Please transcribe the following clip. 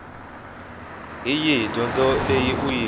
hi yihi dyondzo leyi u